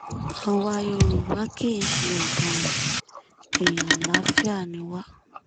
àwa yorùbá kì í ṣe ọ̀daràn èèyàn àlàáfíà ni wá